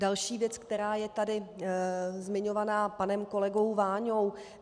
Další věc, která je tady zmiňovaná panem kolegou Váňou.